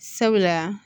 Sabula